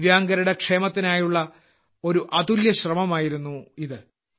ദിവ്യാംഗരുടെ ക്ഷേമത്തിനായുള്ള ഒരു അതുല്യമായ ശ്രമമായിരുന്നു ഇത്